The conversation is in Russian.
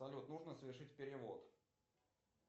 салют нужно совершить перевод